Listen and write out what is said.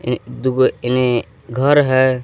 ये इने घर है।